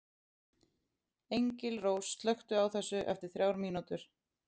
Engilrós, slökktu á þessu eftir þrjár mínútur.